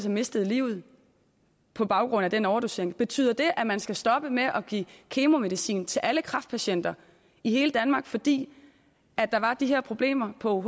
mistede livet på baggrund af den overdosering betyder det at man skal stoppe med at give kemomedicin til alle kræftpatienter i hele danmark fordi der var de her problemer på ouh